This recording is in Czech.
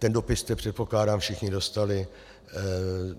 Ten dopis jste, předpokládám, všichni dostali.